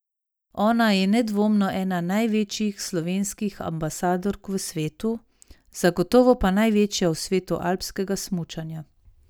Ona je nedvomno ena največjih slovenskih ambasadork v svetu, zagotovo pa največja v svetu alpskega smučanja.